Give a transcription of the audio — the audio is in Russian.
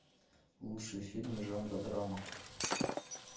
лучшие фильмы жанра драма